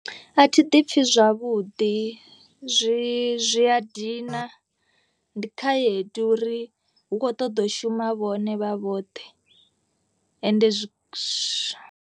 Athi ḓi pfi zwavhuḓi zwi zwi a dina ndi khaedu uri hu kho ṱoḓo shuma vhone vha vhoṱhe ende zwi zwa.